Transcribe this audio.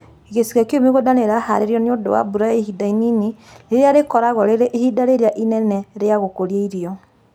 Gĩcigo kĩu mĩgũnda nĩ ĩraharĩrio nĩũndũ wa mbura ya ihinda inini, rĩrĩa rĩkoragwo rĩrĩ ihinda rĩrĩa inene rĩa gũkũria irio